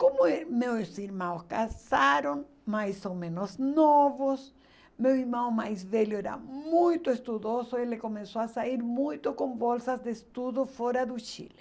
Como eh meus irmãos casaram, mais ou menos novos, meu irmão mais velho era muito estudioso, ele começou a sair muito com bolsas de estudo fora do Chile.